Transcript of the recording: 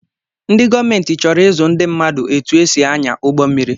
ndị gọọmenti chọrọ izu ndị mmadụ etu e si anya ụgbọ mmiri